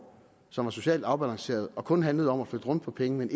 som var socialt afbalanceret og kun handlede om at flytte rundt på pengene